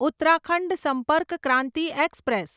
Uttarakhand Sampark Kranti express